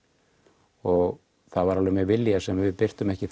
og það var alveg með vilja sem við birtum ekki